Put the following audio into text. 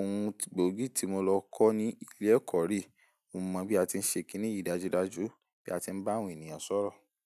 Ohun gbogi tí mo lọ kọ́ ní ilé ẹ̀kọ́ re. Mo mọ bí a ti ń ṣe kín nìyí dájúdájú, bí a ti ń bá àwọn ènìyàn sọ̀rọ̀